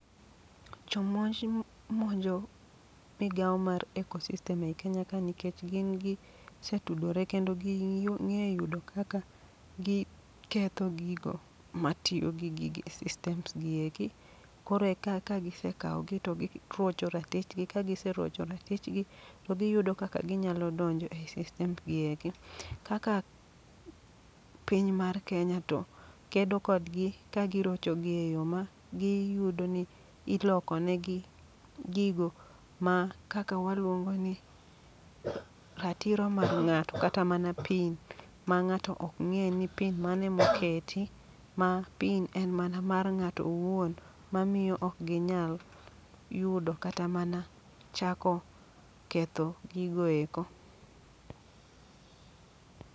Jomonj monjo migawo mar Ecosystem ei Kenya ka nikech gin gi setudore. Kendo ging'e yudo kaka gi ketho gigo matiyo gi gigi e systems gi eki. Koro e ka ka gisekawo gi to girocho ratichgi, kagiserocho ratichgi to giyudo kaka ginyalo donjo ei systems gi eki. Kaka piny mar Kenya to kedo kodgi ka girocho gi e yo ma gi yudo ni iloko negi gigo ma kaka waluongo ni ratiro mar ng'ato. Kata mana pin ma ng'ato ok ng'e ni pin mane moketi. Ma pin en mana mar ng'ato owuon, ma miyo ok ginyal yudo kata mana chako ketho gigo eko.